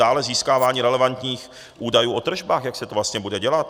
Dále získávání relevantních údajů o tržbách, jak se to vlastně bude dělat.